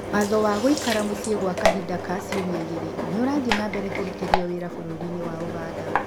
Watho wa gũikara mũciĩ gwa kahinda ka cĩumia igĩrĩ nĩũrathiĩ na mbere kũrũtithio wĩra bũrũrĩnĩ wa ũganda.